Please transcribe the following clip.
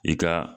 I ka